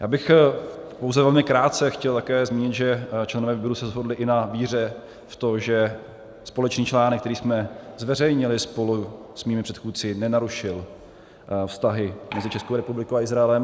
Já bych pouze velmi krátce chtěl také zmínit, že členové výboru se shodli i na víře v to, že společný článek, který jsme zveřejnili spolu s mými předchůdci, nenarušil vztahy mezi Českou republikou a Izraelem.